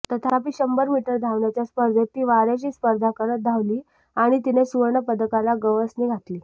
तथापि शंभर मीटर धावण्याच्या स्पर्धेत ती वार्याशी स्पर्धा करत धावली आणि तिने सुवर्णपदकाला गवसणी घातली